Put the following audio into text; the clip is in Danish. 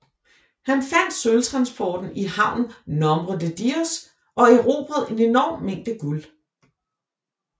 Han fandt sølvtransporten i havnen Nombre de Dios og erobrede en enorm mængde guld